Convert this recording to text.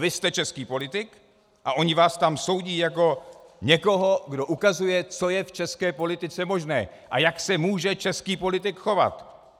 Vy jste český politik a oni vás tam soudí jako někoho, kdo ukazuje, co je v české politice možné a jak se může český politik chovat.